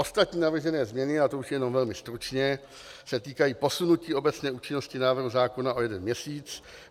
Ostatní navržené změny, a to už jenom velmi stručně, se týkají posunutí obecné účinnosti návrhu zákona o jeden měsíc.